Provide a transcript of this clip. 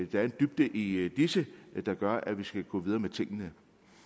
der er en dybde i disse der gør at vi skal gå videre med tingene